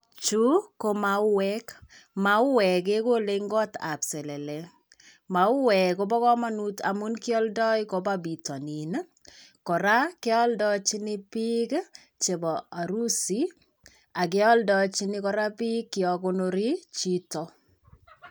Chuu ko mauwek , mauwek kekolen kot ab selele, mauwek kobo komonut amun kioldo kopa pitonin nii koraa kioldochi bik chebo arusi ak kioldechi koraa bik yon konori chito.